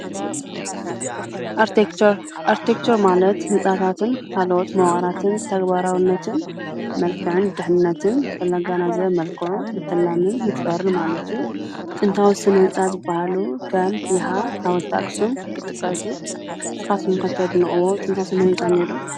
ኣርቴክቸር ማለት ሕፃታትን ሃለዎት መዋቅራትን፣ ተግበራውነትን፣ መልከዕን ድኅነትን ብለጋናዘበ መልክዑ ምተላምን፣ ምስፍርን ማለት እዩ። ጥንታዊ ስነ ሕንፃ ዝበሃሉ ከም ይሓ፣ ሓወልቲ ኣኽስም ይጥቀሱ። ንስኻትም ከ ተድንቀዎ ጥንታዊ ስነ ሕንፃ ኣሎ ዶ?